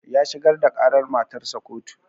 Ya shigar da ƙarar matarsa ƙotu